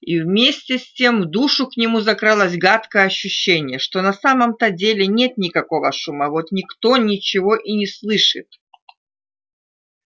и вместе с тем в душу к нему закралось гадкое ощущение что на самом-то деле нет никакого шума вот никто ничего и не слышит